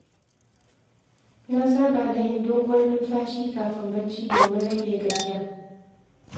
Na saba da yin doguwar numfashi kafin barci domin rage gajiya.